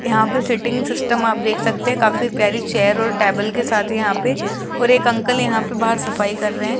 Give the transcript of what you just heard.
यहां पे sitting system आप देख सकते हैं काफी प्यारी चेयर और टेबल के साथ यहां पे और एक अंकल यहां पे बाहर सफाई कर रहे हैं।